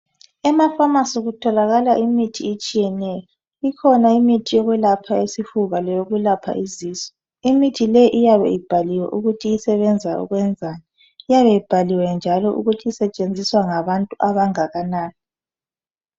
Emaphamacy kutholakala imithi etshiyeneyo ikhona imithi yokwelapha isifuba leyo kwelapha izisu imithi leyi iyabe ibhaliwe ukuthi ngekwenzani iyabe ibhaliwe njalo ukuthi isetshenziswa ngabantu abangakanani